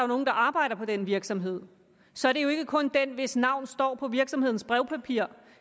nogen der arbejder på den virksomhed så er det jo ikke kun den hvis navn står på virksomhedens brevpapir